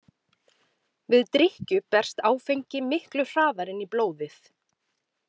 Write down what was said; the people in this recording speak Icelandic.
Við drykkju berst áfengi miklu hraðar inn í blóðið.